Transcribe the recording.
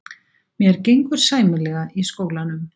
Mér gengur sæmilega í skólanum.